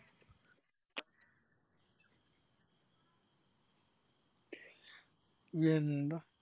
യെന്ത